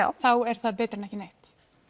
þá er það betra en ekki neitt